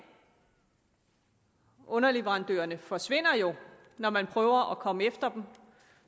underleverandørerne forsvinder jo når man prøver at komme efter dem